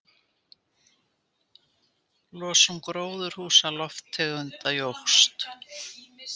Losun gróðurhúsalofttegunda jókst